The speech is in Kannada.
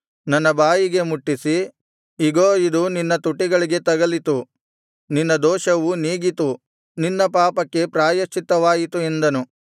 ನನ್ನ ಬಾಯಿಗೆ ಮುಟ್ಟಿಸಿ ಇಗೋ ಇದು ನಿನ್ನ ತುಟಿಗಳಿಗೆ ತಗಲಿತು ನಿನ್ನ ದೋಷವು ನೀಗಿತು ನಿನ್ನ ಪಾಪಕ್ಕೆ ಪ್ರಾಯಶ್ಚಿತ್ತವಾಯಿತು ಎಂದನು